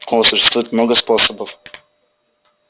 оо существует много способов